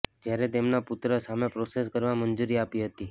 જયારે તેમના પુત્ર સામે પ્રોસેસ કરવા મંજુરી આપી હતી